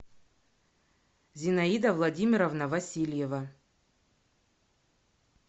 зинаида владимировна васильева